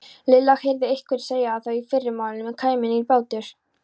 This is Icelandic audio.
Lilla heyrði einhvern segja að í fyrramálið kæmi nýr bátur.